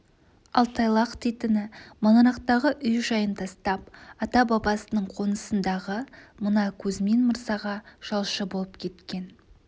ал тайлақ дейтіні маңырақтағы үй-жайын тастап ата-бабасының қонысындағы мына кузьмин мырзаға жалшы болып кеткен